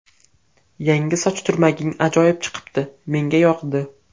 Yangi soch turmaging ajoyib chiqibdi, menga yoqdi”.